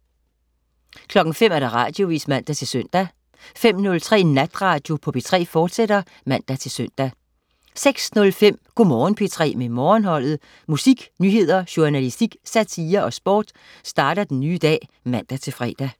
05.00 Radioavis (man-søn) 05.03 Natradio på P3, fortsat (man-søn) 06.05 Go' Morgen P3 med Morgenholdet. Musik, nyheder, journalistik, satire og sport starter den nye dag (man-fre)